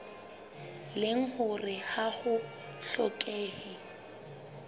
leng hore ha ho hlokehe